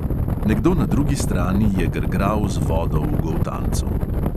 Nekdo na drugi strani je grgral z vodo v goltancu.